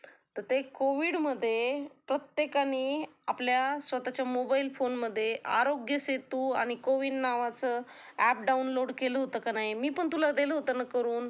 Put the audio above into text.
तर ते कोविडमध्ये प्रत्येकानी आपल्या स्वतःच्या मोबाइल फोनमध्ये आरोग्यसेतू आणि कोविन नावाचं ऍप डाऊनलोड केलं होत का नाही? मी पण तुला दिलं होत ना करुन,